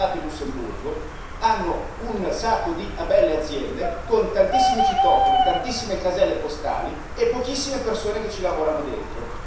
Io sono stato in Lussemburgo hanno un sacco di belle aziende con tantissimi citofoni, tantissime caselle postali e pochissime persone che ci lavorano dentro.